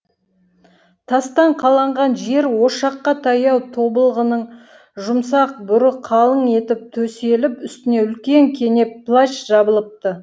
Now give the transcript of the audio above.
тастан қаланған жер ошаққа таяу тобылғының жұмсақ бүрі қалың етіп төселіп үстіне үлкен кенеп плащ жабылыпты